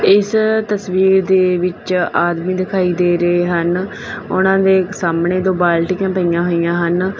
ਇਸ ਤਸਵੀਰ ਦੇ ਵਿੱਚ ਆਦਮੀ ਦਿਖਾਈ ਦੇ ਰਹੇ ਹਨ ਉਹਨਾਂ ਦੇ ਸਾਹਮਣੇ ਦੋ ਬਾਲਟੀਆਂ ਪਈਆਂ ਹੋਈਆਂ ਹਨ।